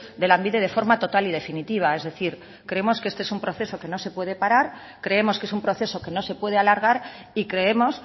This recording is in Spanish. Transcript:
de lanbide de forma total y definitiva es decir creemos que este es un proceso que no se puede parar creemos que es un proceso que no se puede alargar y creemos